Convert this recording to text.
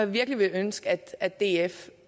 virkelig ønske at df